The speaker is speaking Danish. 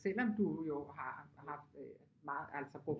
Selvom du jo har haft øh altså brugt